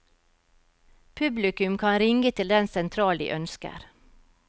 Publikum kan ringe til den sentral de ønsker.